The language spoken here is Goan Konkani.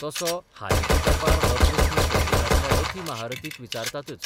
तसो हालींच्या तेंपार हो प्रस्न संगितांतल्या रथी महारर्थीक विचारतातच.